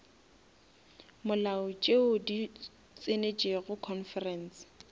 molao tšeo di tsenetšego conference